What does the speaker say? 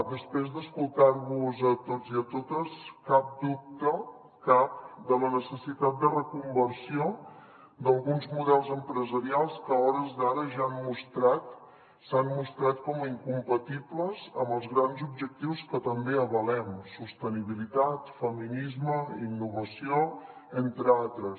després d’escoltar vos a tots i a totes cap dubte cap de la necessitat de reconversió d’alguns models empresarials que a hores d’ara ja han mostrat s’han mostrat com a incompatibles amb els grans objectius que també avalem sostenibilitat feminisme innovació entre altres